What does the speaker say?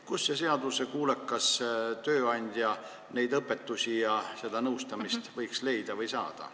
Kust see seaduskuulekas tööandja neid õpetusi ja seda nõustamist võiks saada?